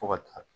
Fo ka taa